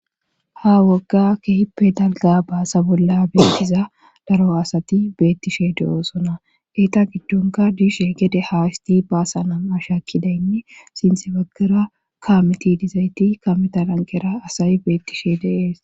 ha wogga kehippe dalga baasa bolla beetiza daro asati beettishe de oosona geeta giddonka diishe gede haa isti baasana ashakkidaynne sinthe baggara kaameti dizayti kametalanqera asay beettishe deees